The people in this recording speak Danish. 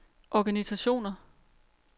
organisationer